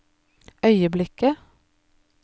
øyeblikket